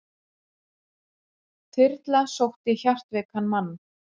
Þyrla sótti hjartveikan mann